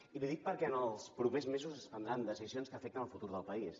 i li ho dic perquè en els propers mesos es prendran decisions que afecten el futur del país